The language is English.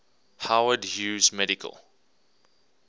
howard hughes medical